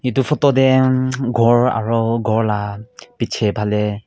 etu photo te umm ghor aru ghor laga piche phale--